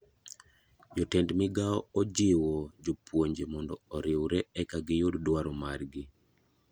Jatend migao ojiwo jopuonje mondo oriwre eka giyud dwaro mar gi.